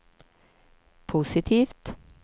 positivt